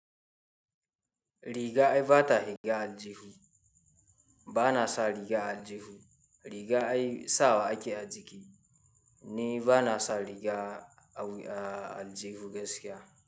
Riga ai ba ta riga aljihu, ba na sa riga aljihu. Riga ai sawa ake a jiki ni ba na sa riga a aljihu gaskiya.